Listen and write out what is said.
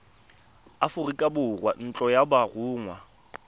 aforika borwa ntlo ya borongwa